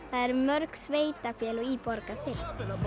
eru mörg sveitafélög í Borgarfirði